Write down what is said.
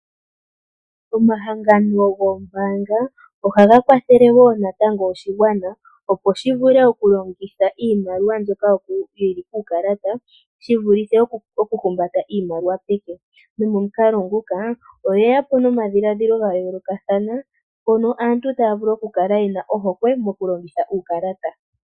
Omahangano goombaanga ohaga kwathele wo natango oshigwana opo shi vule oku longitha iimaliwa mbyoka yili kuukalalata shi vulithe oku humambata iimaliwa peke nomo mukalo nguka oye ya po nomadhiladhilo ga yoolokathana mono aantu taya vulu oku kala yena oohokwe yoku longitha uukalata.